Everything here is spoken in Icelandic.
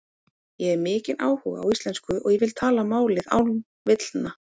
Ég hef mikinn áhuga á íslensku og ég vil tala málið án villna.